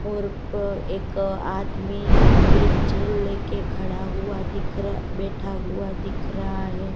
और प एक आदमी वीरचैल लेके खड़ा हुआ दिख र बैठा हुआ दिख रहा है।